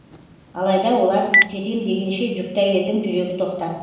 алайда олар жетем дегенше жүкті әйелдің жүрегі тоқтады